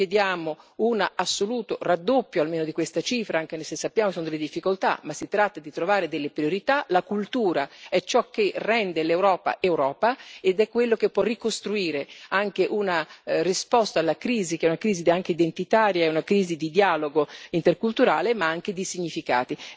Noi chiediamo un assoluto raddoppio almeno di questa cifra, anche se sappiamo che vi sono le difficoltà, ma si tratta di trovare delle priorità la cultura è ciò che rende l'Europa Europa, ed è quello che può ricostruire anche una risposta alla crisi, che è una crisi anche identitaria, è una crisi di dialogo interculturale, ma anche di significati.